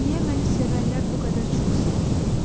Niyə məni sevənlər bu qədər çox sevdilər?